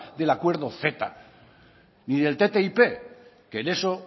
del acuerdo ceta ni del ttip que en eso